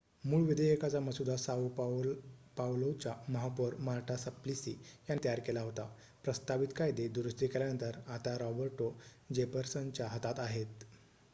मूळ विधेयकाचा मसुदा साओ पावलोच्या महापौर मार्टा सप्लिसी यांनी तयार केला होता प्रस्तावित कायदे दुरुस्ती केल्यानंतर आता रॉबर्टो जेफरसनच्या हातात आहेत